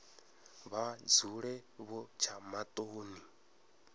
vha dzule vho tsha maṱoni